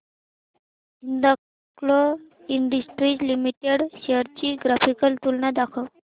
Hindalco industries limited shares ची graphical तुलना दाखव